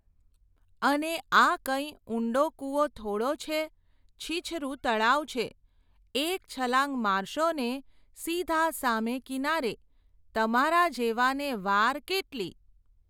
અને આ કંઇ ઉંડો કૂવો થોડો છે? છીછરું તળાવ છે, એક છલાંગ મારશો ને સીધા સામે કિનારે, તમારા જેવાને વાર કેટલી ?.